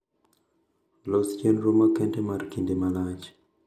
Los chendro makende mar kinde malach